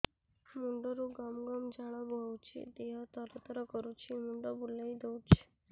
ମୁଣ୍ଡରୁ ଗମ ଗମ ଝାଳ ବହୁଛି ଦିହ ତର ତର କରୁଛି ମୁଣ୍ଡ ବୁଲାଇ ଦେଉଛି